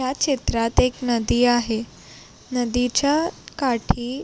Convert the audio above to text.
ह्या चित्रात एक नदी आहे नदीच्या काठी--